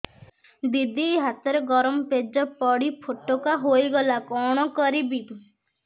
ଦିଦି ହାତରେ ଗରମ ପେଜ ପଡି ଫୋଟକା ହୋଇଗଲା କଣ କରିବି